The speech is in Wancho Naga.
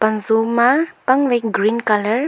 Pan-jo ma pang wai green colour .